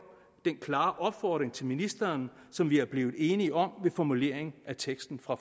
den klare opfordring til ministeren som vi er blevet enige om ved formuleringen af teksten fra